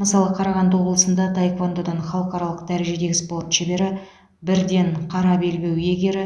мысалы қарағанды облысында таэквондодан халықаралық дәрежедегі спорт шебері бір ден қара белбеу иегері